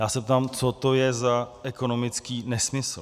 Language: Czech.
Já se ptám, co to je za ekonomický nesmysl.